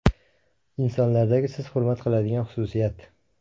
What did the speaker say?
Insonlardagi siz hurmat qiladigan xususiyat?